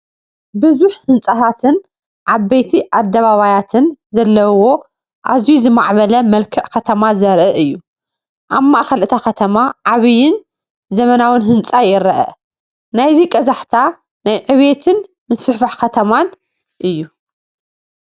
ብዙሕ ህንጻታትን ዓበይቲ ኣደባባያትን ዘለዎ ኣዝዩ ዝማዕበለ መልክዕ ከተማ ዘርኢ እዩ። ኣብ ማእከል እታ ከተማ ዓቢን ዘመናውን ህንጻ ይርአ። ናይዚ ቀዛሕታ ናይ ዕብየትን ምስፍሕፋሕ ከተማን እዩ።